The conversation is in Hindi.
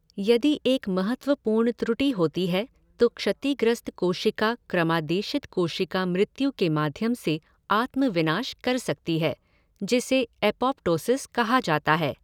यदि एक महत्वपूर्ण त्रुटि होती है तो क्षतिग्रस्त कोशिका क्रमादेशित कोशिका मृत्यु के माध्यम से आत्म विनाश कर सकती है, जिसे एपोप्टोसिस कहा जाता है।